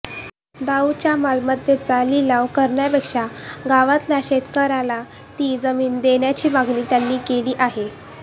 दाऊदच्या मालमत्तेचा लिलाव करण्यापेक्षा गावातल्या शेतकऱ्याला ती जमीन देण्याची मागणी त्यांनी केली आहे